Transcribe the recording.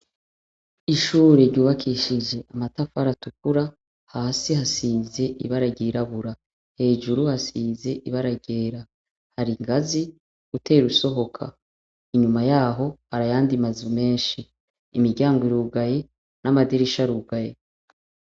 Ishuri ryubakishije amatafari atukura. Hasi hasize ibara ryirabura. Hejuru hasize ibara ryera. Hari ingazi utera usohoka. Inyuma yaho hari ayandi mazu menshi. Imiryango irugaye n'amadirisha arugaye.